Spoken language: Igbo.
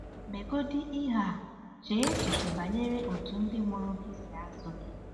MEGODỊ IHE A: Chee echiche banyere otú ndị mụrụ gị si azụ gị.